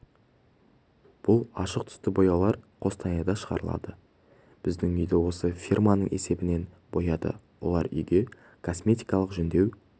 бұл ашық түсті бояулар қостанайда шығарылады біздің үйді осы фирманың есебінен бояды олар үйге косметикалық жөндеу